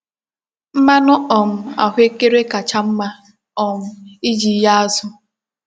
Mmanu um ahuekere kacha mma um iji ghee azu.